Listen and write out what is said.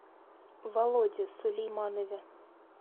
володе сулейманове